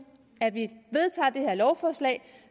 at vi vedtager det her lovforslag